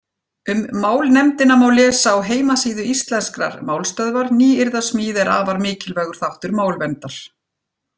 Um málnefndina má lesa á heimasíðu Íslenskrar málstöðvar Nýyrðasmíð er afar mikilvægur þáttur málverndar.